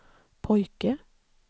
pojke